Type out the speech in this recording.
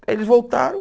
Aí eles voltaram.